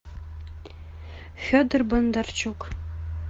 федор бондарчук